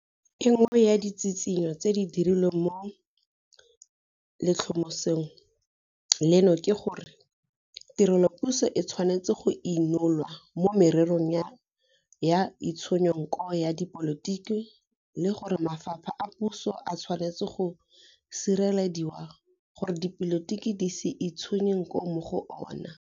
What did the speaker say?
E nngwe ya ditshitshinyo tse di dirilweng mo letlhomesong leno ke gore tirelopuso e tshwanetse go inolwa mo mererong ya itshunyo nko ya dipolotiki le gore mafapha a puso a tshwanetse go sirelediwa gore dipolotiki di se itshunye nko mo go ona.